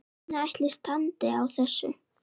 Hvernig ætli standi á þessu?